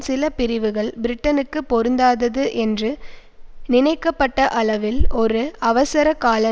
சில பிரிவுகள் பிரட்டனுக்குப் பொருந்ததாதது என்று நினைக்கப்பட்ட அளவில் ஒரு அவசரகால